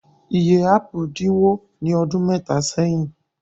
Iye ápù dínwó ní ọdún mẹ́ta sẹ́yìn.